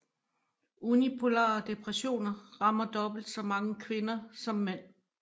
Unipolare depressioner rammer dobbelt så mange kvinder som mænd